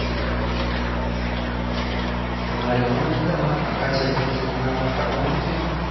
તમારે જવાનું નથી તમારા કાકા છે તો ફરવા નથી જવાનું